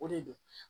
O de do